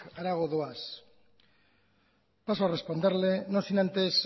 harago goaz paso a responderle no sin antes